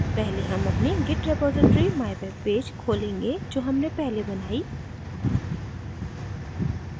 पहले हम अपनी git repository mywebpage खोलेंगे जो हमने पहले बनाई